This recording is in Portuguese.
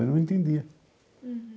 Eu não entendia.